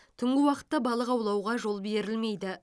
түнгі уақытта балық аулауға жол берілмейді